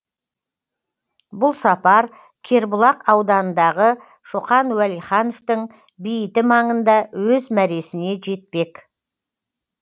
бұл сапар кербұлақ ауданындағы шоқан уәлихановтың бейіті маңында өз мәресіне жетпек